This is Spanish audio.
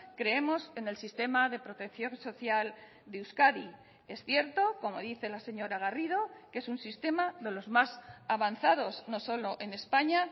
creemos en el sistema de protección social de euskadi es cierto como dice la señora garrido que es un sistema de los más avanzados no solo en españa